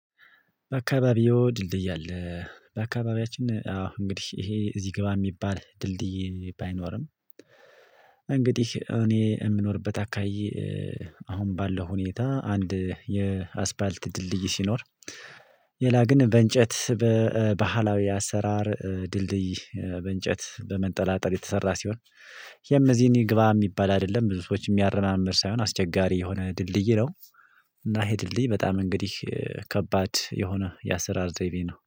በአካባቢው ድልድይ አለ። በአካባቢያችን አዎ እንግዲህ ይሄ እዚህ ግባ የሚባል ድልድይ ባይኖርም። እንግዲህ እኔ የምኖርበት አካባቢ አሁን ባለው ሁኔታ አንድ የአስፓልት ድልድይ ሲኖር። ሌላ ግን በእንጨት በባህላዊ አሰራር ድልድይ በእንጨት በመንጠላጠል የተሰራ ሲሆን የምዚህን ግባ የሚባል አይደለም ብዙ ሰዎች የሚያረማምድ ሳይሆን አስቸጋሪ የሆነ ድልድይ ነው። እና ይሄ ድልድይ በጣም እንግዲህ ከባድ የሆነ የአሰራር ዘይቤ ነው